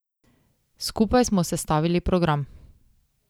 Skupaj smo sestavili program.